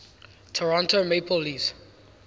toronto maple leafs